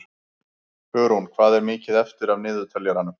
Hugrún, hvað er mikið eftir af niðurteljaranum?